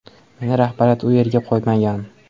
Meni rahbariyat u yerga qo‘ymagan.